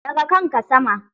Ɗaga kanka sama!